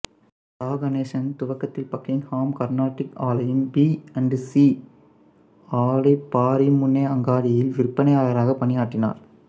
சா கணேசன் துவக்கத்தில் பக்கிங்ஹாம் கர்னாட்டிக் ஆலையின் பி அண்ட் சி ஆலை பாரிமுனை அங்காடியில் விற்பனையாளராக பணியாற்றினார்